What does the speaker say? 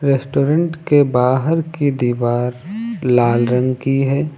Restaurant के बाहर की दीवार लाल रंग की है।